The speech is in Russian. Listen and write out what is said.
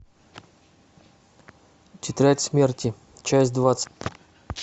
тетрадь смерти часть двадцать